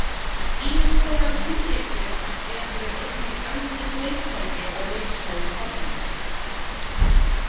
Ýmiss konar hringekjur eru einnig algeng leiktæki á leiksvæðum barna.